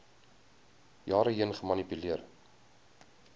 jare heen gemanipuleer